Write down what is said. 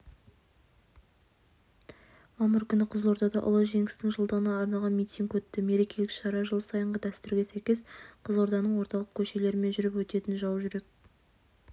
мамыр күні қызылордада ұлы жеңістің жылдығына арналған митинг өтті мерекелік шара жыл сайынғы дәстүрге сәйкес қызылорданың орталық көшелерімен жүріп өтетін жаужүрек